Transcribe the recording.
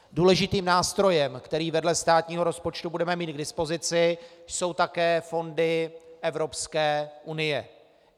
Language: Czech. Důležitým nástrojem, který vedle státního rozpočtu budeme mít k dispozici, jsou také fondy Evropské unie.